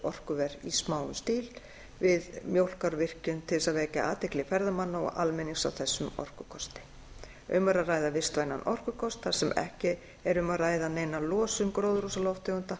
upp osmósuorkuver í smáum stíl við mjólkárvirkjun til þess að vekja athygli ferðamanna og almennings á þessum orkukosti um er að ræða vistvænan orkukost þar sem ekki er um að ræða neina losun gróðurhúsalofttegunda